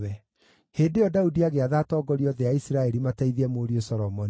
Hĩndĩ ĩyo Daudi agĩatha atongoria othe a Isiraeli mateithie mũriũ Solomoni.